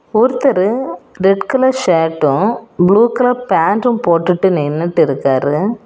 ஒருத்தரு red colour shirt blue colour பேண்டும் போட்டுட்டு நின்னுட்டு இருக்காரு.